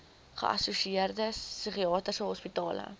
geassosieerde psigiatriese hospitale